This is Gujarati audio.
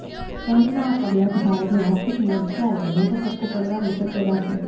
ટ્રમ્પના આ પગલાથી ભારતને આર્થિક મોરચાએ મોટો ફટકો પડવાની શક્યતા છે